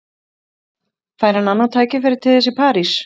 Fær hann annað tækifæri til þess í París?